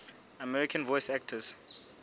american voice actors